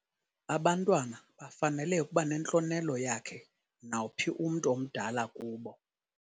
Abantwana bafanele ukuba nentlonelo yakhe nawuphi umntu omdala kubo.